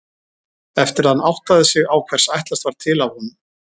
Eftir að hann áttaði sig á hvers ætlast var til af honum.